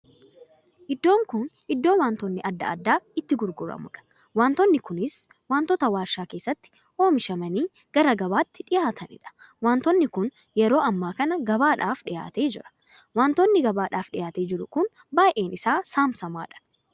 Iddoo kun iddoo wantoonni addaa addaa itti gurguramudha. wantootni kunis wantoota warshaa keessatti oomishamanii gara gabaatti dhiyaataniidha. Wantoonni kun yeroo ammaa kan gabaadhaaf dhiyaatee jira. Wantoonni gabaaf dhiyaatee jiru kun baay'ee isaa samsammadhaa.